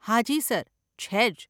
હાજી સર, છે જ.